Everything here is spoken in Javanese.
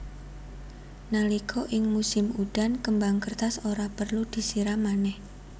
Nalika ing musim udan kembang kertas ora perlu disiram manèh